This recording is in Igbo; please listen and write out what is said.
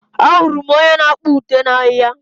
Ahụrụ m onye na-akpa ụte n'ahia.